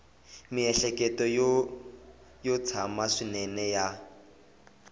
miehleketo yo tsana swinene ya